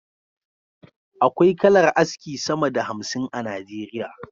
Akwai kalar aski sama da hamsin a nigeria